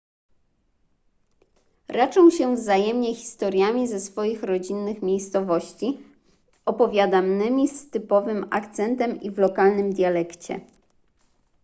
raczą się wzajemnie historiami ze swoich rodzinnych miejscowości opowiadanymi z typowym akcentem i w lokalnym dialekcie